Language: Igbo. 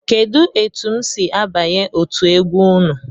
Kedu etụ m si abanye otú egwu ụnụ?